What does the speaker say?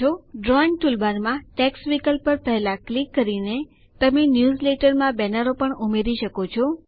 drawing ટૂલબારમાં text વિકલ્પ પર પહેલા ક્લિક કરીને તમે ન્યૂઝલેટરમાં બેનરો પણ ઉમેરી શકો છો